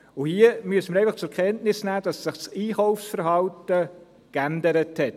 Hier müssen wir einfach zur Kenntnis nehmen, dass sich das Einkaufsverhalten verändert hat.